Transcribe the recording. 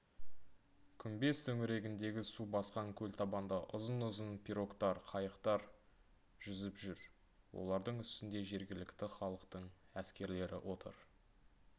күмбез төңірегіндегі су басқан көлтабанда ұзын-ұзын пирогтар қайықтар жүзіп жүр олардың үстінде жергілікті халықтың әскерлері отыр